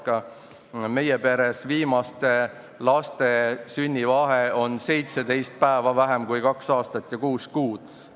Ka meie peres on viimaste laste sünnivahe 17 päeva vähem kui kaks aastat ja kuus kuud.